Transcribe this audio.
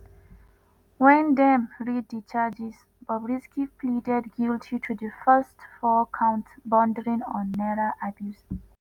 wen dem read di charges bobrisky pleaded guilty to di first four counts bordering on naira abuse.